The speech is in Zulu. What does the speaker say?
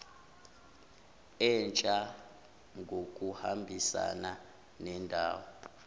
entsha ngokuhambisana nendawo